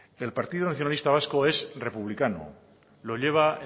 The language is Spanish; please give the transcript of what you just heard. el partido nacionalista vasco es republicano lo lleva